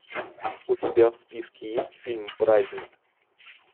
у тебя в списке есть фильм праздник